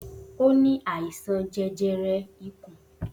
O ní àìsàn jẹjẹrẹ ikùn